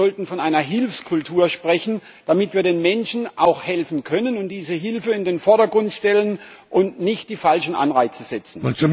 Wir sollten von einer Hilfskultur sprechen, damit wir den Menschen auch helfen können und diese Hilfe in den Vordergrund stellen und nicht die falschen Anreize setzen.